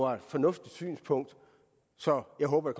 er et fornuftigt synspunkt så jeg håber